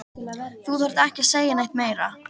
Þú þarft ekki að segja neitt meira.